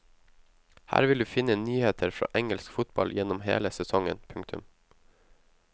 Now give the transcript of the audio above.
Her vil du finne nyheter fra engelsk fotball gjennom hele sesongen. punktum